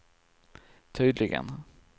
tydligen